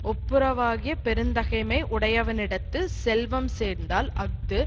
ஒப்புரவாகிய பெருந்தகைமை உடையவனிடத்து செல்வம் சேர்ந்தால் அஃது